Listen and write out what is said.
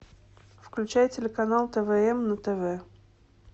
включай телеканал твм на тв